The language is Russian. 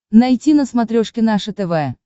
найти на смотрешке наше тв